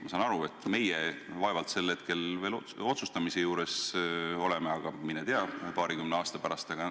Ma saan aru, et meie vaevalt enam paarikümne aasta pärast otsustamise juures oleme, aga mine tea.